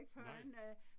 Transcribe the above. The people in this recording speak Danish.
Nej